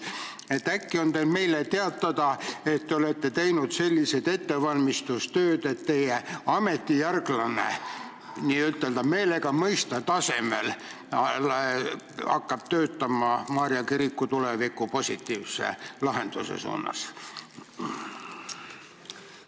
Äkki on teil meile teatada, et te olete teinud ettevalmistustööd, et teie ametijärglane hakkab töötama Maarja kiriku tuleviku positiivse lahenduse suunas?